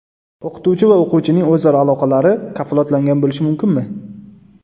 O‘qituvchi va o‘quvchining o‘zaro aloqalari kafolatlangan bo‘lishi mumkinmi?